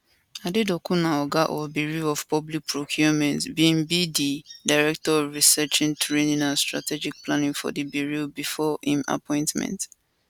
adedokun new oga of bureau of public procurement bin be di director of researchtraining and strategic planning for di bureau before im appointment